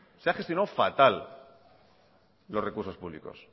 se ha gestionado falta los recursos públicos